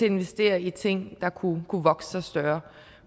investere i ting der kunne vokse sig større